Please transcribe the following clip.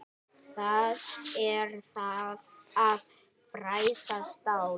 Það er að bræða stál.